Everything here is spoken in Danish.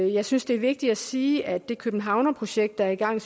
jeg synes det er vigtigt at sige at det københavnerprojekt der er i gang